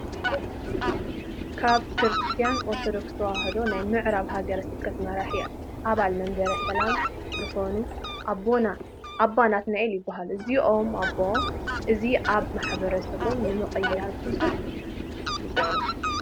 ካብ ክርስትያን ኦርቶዶክሰ ተዋህዶ ናይ ምዕራብ ሃገረ ስብከት መራሒ ኣባል መበረሰላማ ዝኮና ኣቦና ኣባ ናትናኤል ይበሃሉ። እዞምኣቦ እዚ ኣብ ማሕበረሰቦም ንምቅያር ብዙሕ ይፅዕሩ።